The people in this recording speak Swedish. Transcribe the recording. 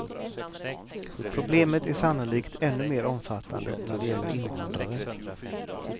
Problemet är sannolikt ännu mer omfattande när det gäller invandrare.